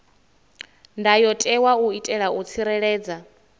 ndayotewa u itela u tsireledza